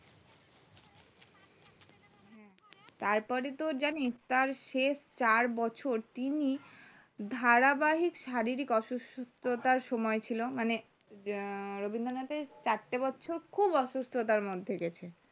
তারপরে তোর জানিস তার শেষ চার বছর তিনি ধারাবাহিক শারীরিক অসুস্থতার সময় ছিল মানে রবীন্দ্রনাথের চারটে বছর খুব অসুস্থতার মধ্যে গিয়েছেন